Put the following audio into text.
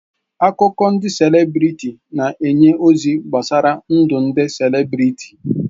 Akụkọ ndị selebrịtị na-enye ozi gbasara ndụ ndị selebrịtị.